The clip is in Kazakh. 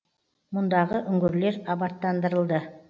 мұндағы үңгірлер абаттандырылды